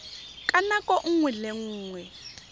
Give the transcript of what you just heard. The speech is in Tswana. ka nako nngwe le nngwe